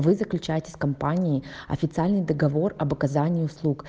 вы заключаете с компанией официальный договор об оказании услуг